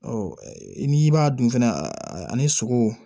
n'i b'a dun fɛnɛ ani sogo